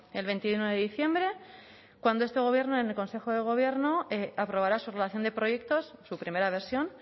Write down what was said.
el veintiuno de diciembre cuando este gobierno en el consejo de gobierno aprobará su relación de proyectos su primera versión